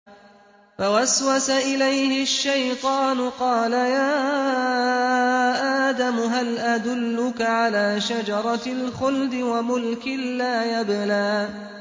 فَوَسْوَسَ إِلَيْهِ الشَّيْطَانُ قَالَ يَا آدَمُ هَلْ أَدُلُّكَ عَلَىٰ شَجَرَةِ الْخُلْدِ وَمُلْكٍ لَّا يَبْلَىٰ